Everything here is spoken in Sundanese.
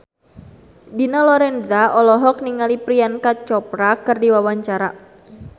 Dina Lorenza olohok ningali Priyanka Chopra keur diwawancara